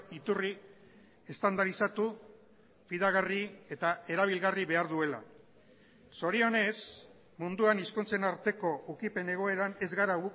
iturri estandarizatu fidagarri eta erabilgarri behar duela zorionez munduan hizkuntzen arteko ukipen egoeran ez gara